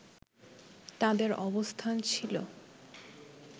তাদের অবস্থান ছিল